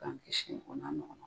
K'an kisɔi o n'a ɲɔgɔna ma.